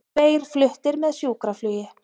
Tveir fluttir með sjúkraflugi